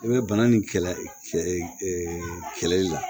I bɛ bana nin kɛlɛ kɛlɛli la